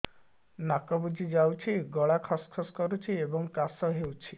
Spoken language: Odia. ନାକ ବୁଜି ଯାଉଛି ଗଳା ଖସ ଖସ କରୁଛି ଏବଂ କାଶ ହେଉଛି